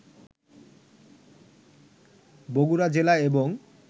বগুড়া জেলা এবং